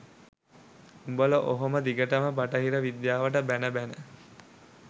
උඹල ඔහොම දිගටම බටහිර විද්‍යාවට බැන බැන